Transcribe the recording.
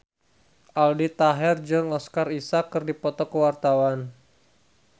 Aldi Taher jeung Oscar Isaac keur dipoto ku wartawan